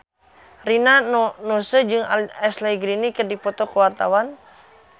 Rina Nose jeung Ashley Greene keur dipoto ku wartawan